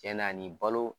Tiɲɛ na nin balo